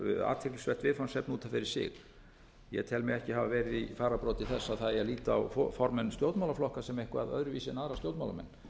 mig ekki hafa verið í fararbroddi þess að það eigi að líta á formenn stjórnmálaflokka sem eitthvað öðruvísi en aðra stjórnmálamenn